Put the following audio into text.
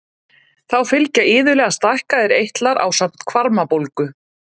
Þá fylgja iðulega stækkaðir eitlar ásamt hvarmabólgu.